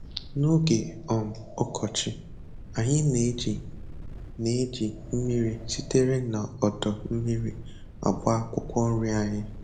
N'oge um ọkọchị, anyị na-eji na-eji mmiri sitere na odo mmiri agba akwụkwọ nri anyị.